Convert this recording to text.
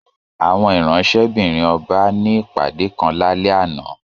Àwọn ìránṣẹ́-bìrin ọba ní ìpàdé kan lálé àná